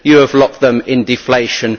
You have locked them into deflation.